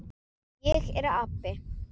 Ég er api.